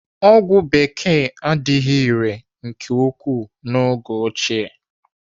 Ọgwụ bekee adịghị irè nke ukwuu n'oge ochie.